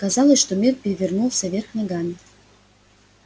казалось что мир перевернулся вверх ногами